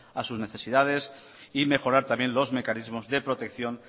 a sus necesidades y mejorar también los mecanismos de protección